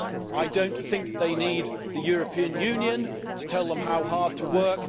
I do not think they need the European Union to tell them how hard to work.